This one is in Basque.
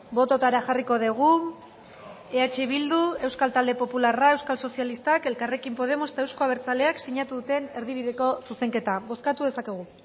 bototara jarriko dugu eh bildu euskal talde popularra euskal sozialistak elkarrekin podemos eta euzko abertzaleak sinatu duten erdibideko zuzenketa bozkatu dezakegu